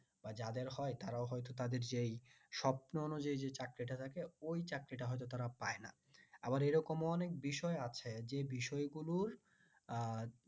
বা যাদের হয় তারও হয়ত তাদের যেই স্বপ্ন অনুযায়ীই যেই চাকরিটা থাকে ওই চাকরিটা হয়ত তারা পায় না আবার এরকম অনেক বিষয় আছে যে বিষয় গুলোর আহ